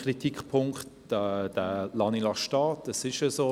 Einen Kritikpunkt lasse ich stehen, denn es ist tatsächlich so: